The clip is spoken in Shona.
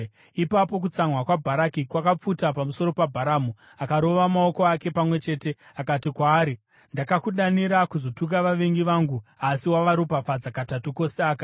Ipapo kutsamwa kwaBharaki kwakapfuta pamusoro paBharamu. Akarova maoko ake pamwe chete akati kwaari, “Ndakakudanira kuzotuka vavengi vangu, asi wavaropafadza katatu kose aka.